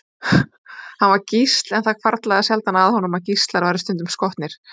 Hann var gísl, en það hvarflaði sjaldan að honum að gíslar væru stundum skotnir.